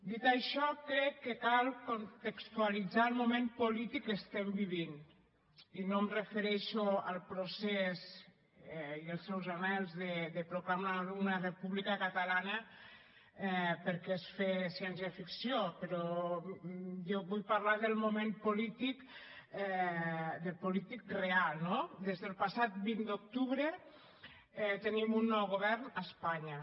dit això crec que cal contextualitzar el moment polític que vivim i no em refereixo al procés i als seus anhels de proclamar una república catalana perquè és fer ciència ficció sinó que jo vull parlar del moment polític real no des del passat vint d’octubre tenim un nou govern a espanya